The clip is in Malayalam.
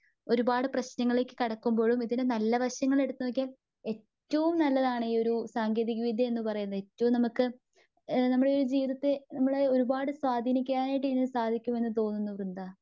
ഒരുപാടു പ്രേശ്നങ്ങളിലേക്കുകടക്കുമ്പോഴും ഇതിനു നല്ല വശങ്ങൾ എടുത്തു നോക്കിയാൽ ഏറ്റവും നല്ലതാണു ഈ ഒരു സാങ്കേതിക വിദ്ത്യ എന്ന് പറയുന്നത്.ഇപ്പം നമുക്ക് നമ്മുടെ ജീവിതത്തെ ഒരുപാട് സ്വാധീക്കാനായിട്ട് സാധിക്കുമെന്ന് തോന്നുന്നു വൃന്ദ.